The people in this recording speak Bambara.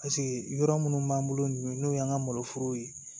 Paseke yɔrɔ minnu b'an bolo nin ye n'o y'an ka maloforow ye